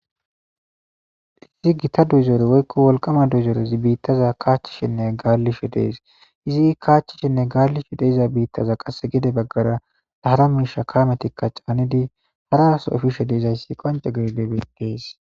Gitta kamezi woyi woliqqama dozorezi bitta kashishe deyesi kachishene kalishe diza bitaza gede baggara qassi harra soo caniddi efidayisi qonicesi